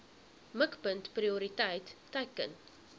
mikpunt prioriteit teiken